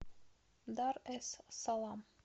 дар эс салам